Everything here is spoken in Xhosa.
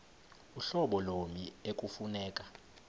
uhlobo lommi ekufuneka